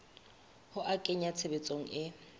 ho a kenya tshebetsong e